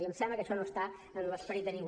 i em sembla que això no està en l’esperit de ningú